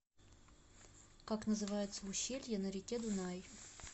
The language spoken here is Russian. как называется ущелье на реке дунай